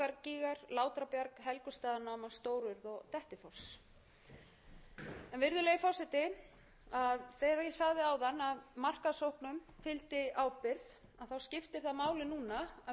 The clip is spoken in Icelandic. stór og dettifoss virðulegi forseti þegar ég sagði áðan að markaðssóknum fylgdi ábyrgð skiptir það máli núna að við horfum